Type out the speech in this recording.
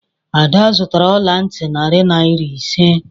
Ada zụtara ọla ntị narị naira ise.